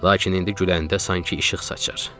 Lakin indi güləndə sanki işıq saçır.